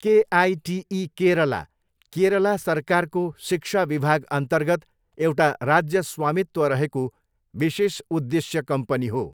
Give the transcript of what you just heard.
KITE Kerala, Kerala सरकारको शिक्षा विभागअन्तर्गत एउटा राज्य स्वामित्व रहेको विशेष उद्देश्य कम्पनी हो।